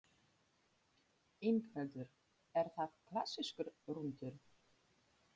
Ingveldur: Er það klassískur rúntur?